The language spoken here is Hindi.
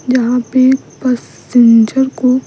जहां पे पैसेंजर को --